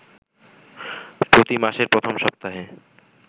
প্রতিমাসের প্রথম সপ্তাহে